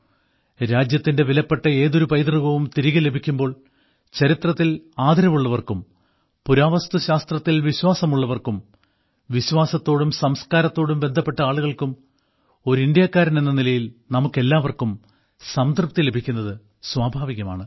രാജ്യത്തിന്റെ വിലപ്പെട്ട ഏതൊരു പൈതൃകവും തിരികെ ലഭിക്കുമ്പോൾ ചരിത്രത്തിൽ ആദരവുള്ളവർക്കും പുരാവസ്തുശാസ്ത്രത്തിൽ വിശ്വാസമുള്ളവർക്കും വിശ്വാസത്തോടും സംസ്കാരത്തോടും ബന്ധപ്പെട്ട ആളുകൾക്കും ഒരു ഇന്ത്യക്കാരൻ എന്ന നിലയിൽ നമുക്കെല്ലാവർക്കും സംതൃപ്തി ലഭിക്കുന്നത് സ്വാഭാവികമാണ്